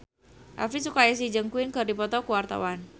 Elvi Sukaesih jeung Queen keur dipoto ku wartawan